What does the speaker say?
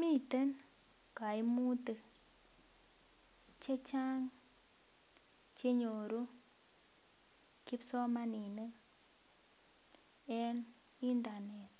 Miten koimutik chechang chenyoru kipsomaninik en internet